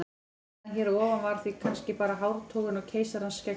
Umræðan hér að ofan var því kannski bara hártogun á keisarans skeggi.